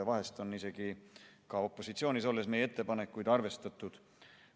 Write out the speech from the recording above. Vahest on opositsioonis olles meie ettepanekuid isegi rohkem arvestatud.